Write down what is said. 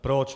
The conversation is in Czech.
Proč?